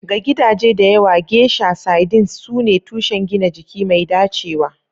Ga gidaje da yawa, geisha sardines sune tushen gina jiki mai dacewa.